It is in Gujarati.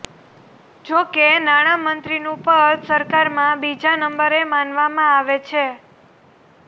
જોકે નાણામંત્રીનું પદ સરકારમાં બીજા નંબરે માનવામાં આવે છે